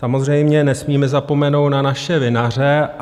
Samozřejmě nesmíme zapomenout na naše vinaře.